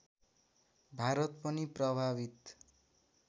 भारत पनि प्रभावित